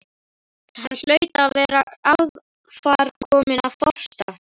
Hann hlaut að vera aðframkominn af þorsta.